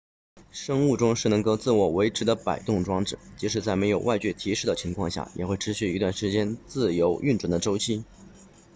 生物钟是能够自我维持的摆动装置即使在没有外界提示的情况下也会持续一段时间自由运转的周期